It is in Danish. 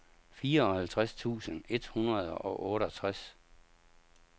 fireoghalvtreds tusind et hundrede og otteogtres